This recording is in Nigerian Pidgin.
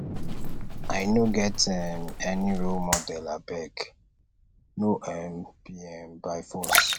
i no get um any role model abeg no um be um by force